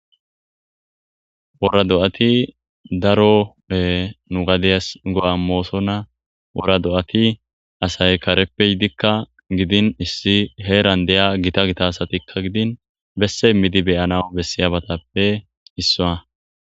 Woora do7ati daro nu gadeyas go7a imoosonna wora do7ati asay kareppe yidikka gidin issi heeran deya gita gita asatikka gidin besse midi beyana bessiyabatappe issowa.